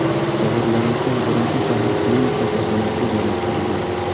Jabrlanuvchi birinchi shahar klinik kasalxonasiga joylashtirilgan.